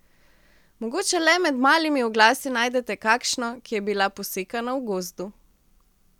Mogoče le med malimi oglasi najdete kakšno, ki je bila posekana v gozdu.